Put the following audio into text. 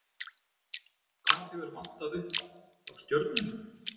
Hvað hefur vantað upp á, hjá Stjörnunni?